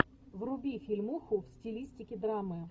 вруби фильмуху в стилистике драмы